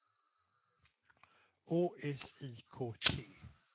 Å S I K T